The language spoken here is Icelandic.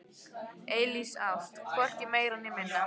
Eilíf ást, hvorki meira né minna.